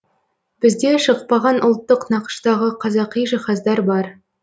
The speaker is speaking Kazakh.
бізде шықпаған ұлттық нақыштағы қазақи жиһаздар бар